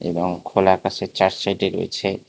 খোলা আকাশের চার সাইডে রয়েছে--